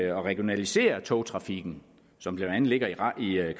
at regionalisere togtrafikken som blandt andet ligger i